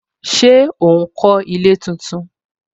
Ṣé ó ń kó ilé tuntun